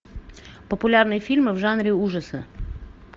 популярные фильмы в жанре ужасы